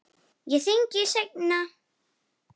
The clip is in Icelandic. Ég hringi seinna.